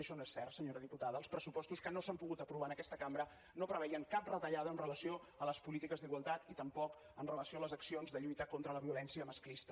això no és cert senyora diputada els pressupostos que no s’han pogut aprovar en aquesta cambra no preveien cap retallada amb relació a les polítiques d’igualtat i tampoc amb relació a les accions de lluita contra la violència masclista